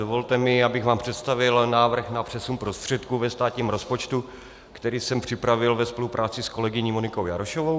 Dovolte mi, abych vám představil návrh na přesun prostředků ve státním rozpočtu, který jsem připravil ve spolupráci s kolegyní Monikou Jarošovou.